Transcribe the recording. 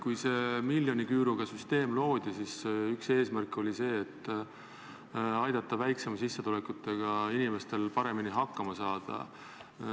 Kui see miljoniküüruga süsteem loodi, siis üks eesmärke oli see, et aidata väiksema sissetulekuga inimestel paremini hakkama saada.